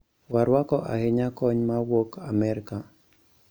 Warwako ahinya kony ma wuok Amerka